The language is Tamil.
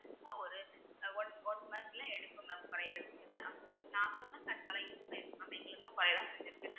பெருசா ஒரு ஒரு one one month ல எடுக்கும் mam பழைய நாங்களும்தான் use பண்ணிருக்கும் mam எங்களுக்குலாம்